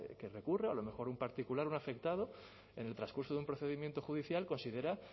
que recurra a lo mejor un particular un afectado en el transcurso de un procedimiento judicial considera